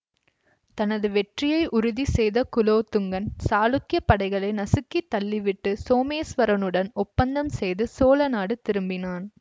தனது வெற்றியை உறுதி செய்த குலோத்துங்கன் சாளுக்கிய படைகளை நசுக்கித் தள்ளிவிட்டு சோமேஸ்வரனுடன் ஒப்பந்தம் செய்து சோழ நாடு திரும்பினான்